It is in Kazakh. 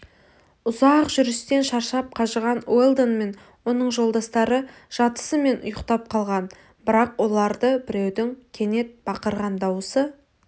ұзақ жүрістен шаршап қажыған уэлдон мен оның жолдастары жатысымен ұйықтап қалған бірақ оларды біреудің кенет бақырған даусы